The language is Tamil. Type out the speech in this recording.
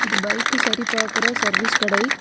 இது பைக் சரி பார்க்கிற சர்வீஸ் கடை.